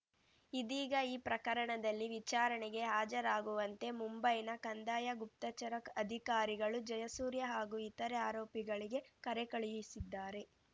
ಇದೀಗ ಈ ಪ್ರಕರಣದಲ್ಲಿ ವಿಚಾರಣೆಗೆ ಹಾಜರಾಗುವಂತೆ ಮುಂಬೈನ ಕಂದಾಯ ಗುಪ್ತಚರ ಅಧಿಕಾರಿಗಳು ಜಯಸೂರ್ಯ ಹಾಗೂ ಇತರೆ ಆರೋಪಿಗಳಿಗೆ ಕರೆ ಕಳುಹಿಸಿದ್ದಾರೆ